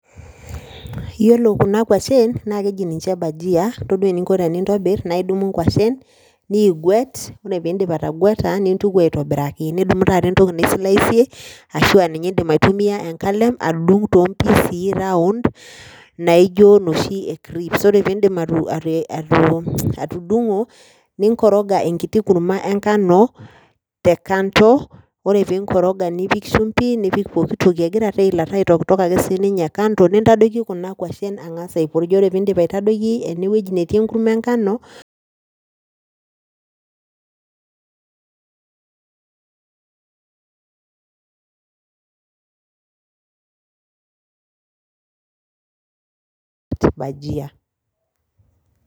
Iyiolo Kuna kwashen naa keji ninche bhajia itodua eninko tenintobir naa idumi nkwashen, niiguet, ore pee iidip atagweta nintuki aitobiraki, nidumu taata entoki ni slice ashu aa ninye idim aitumia enkalem adung aun naijo inoshi e crips ore pee idip atudungo ninkoroga enkitu kurma enkano te kando, ore pee inkoroga nipik shumpi, nipik pooki toki egira taa eilata aitokitok ake sii ninye ake kando, nintadoiki Kuna kwashen angas aipurj, ore pee iidip aitadoiki ne wueji netii enkurama enkanobhajia